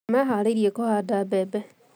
Nĩmeeharĩirie kũhanda mbembe